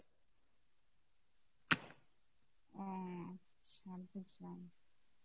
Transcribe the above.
ওহ, আচ্ছা বুজলাম।